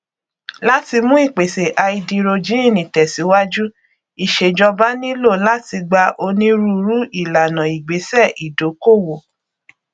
láti mú ìpèsè háídírójìnì tẹsíwájú ìṣèjọba nílò láti gba onírúurú ìlànà ìgbésẹ ìdókòwò